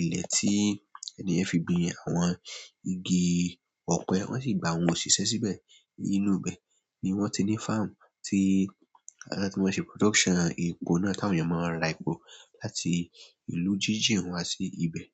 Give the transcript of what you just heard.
Ilẹ̀ tí ènìyàn fi gbin àwọn igi ọ̀pẹ, wọ́n sì gbà awọ́n o ṣíṣe síbẹ̀. Inúu bẹ̀ ni wọ́n ti ní farm tí láti máa ṣe production epo náà tí àwọn èèyàn máa ń rà epo láti ìlú jíjìn wá sí ibẹ̀.